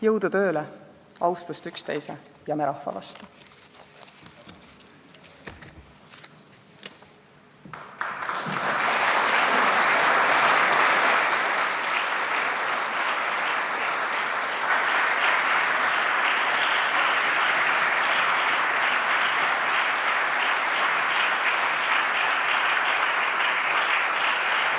Jõudu tööle, austust üksteise ja me rahva vastu!